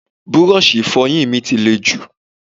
Búrọ́ọ̀ṣì Ìfọ̀yín mi ti lè jù